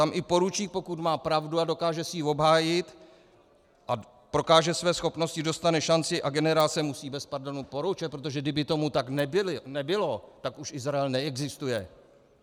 Tam i poručík, pokud má pravdu a dokáže si ji obhájit a prokáže své schopnosti, dostane šanci a generál se musí bez pardonu poroučet, protože kdyby tomu tak nebylo, tak už Izrael neexistuje.